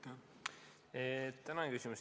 Tänan küsimuse eest!